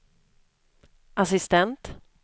assistent